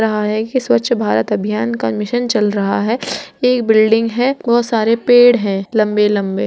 रहा है ये स्वच्छ भारत अभियान का मिशन चल रहा है | ये एक बिल्डिंग है बहुत सारे पेड़ है लंबे लंबे --